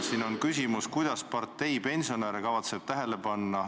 Siis esitati küsimus, kuidas partei kavatseb pensionäre tähele panna. "